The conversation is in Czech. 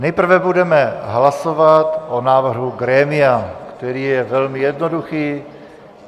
Nejprve budeme hlasovat o návrhu grémia, který je velmi jednoduchý.